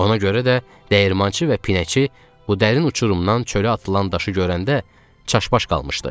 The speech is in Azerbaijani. Ona görə də dəyirmançı və pinəçi bu dərin uçurumdan çölə atılan daşı görəndə çaşbaş qalmışdı.